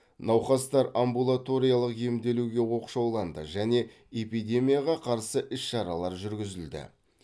науқастар амбулаториялық емделуге оқшауланды және эпидемияға қарсы іс шаралар жүргізілді